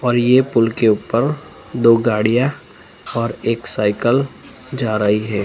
और ये पूल के उपर दो गाड़ियाँ और एक साइकिल जा रही हैं।